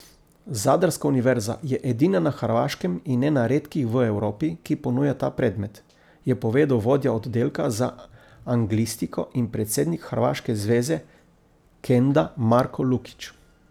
Zadrska univerza je edina na Hrvaškem in ena redkih v Evropi, ki ponuja ta predmet, je povedal vodja oddelka za anglistiko in predsednik hrvaške zveze kenda Marko Lukić.